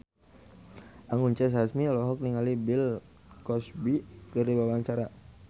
Anggun C. Sasmi olohok ningali Bill Cosby keur diwawancara